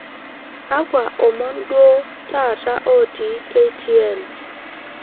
kakwa omon duo taata otii k. t. n